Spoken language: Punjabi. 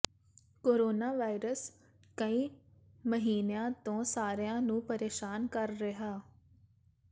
ਕੋਰੋਨਾ ਵਾਇਰਸ ਕਈ ਮਹੀਨਿਆਂ ਤੋਂ ਸਾਰਿਆਂ ਨੂੰ ਪਰੇਸ਼ਾਨ ਕਰ ਰਿਹਾ